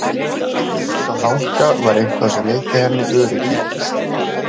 Við þessa þanka var eitthvað sem veitti henni öryggi.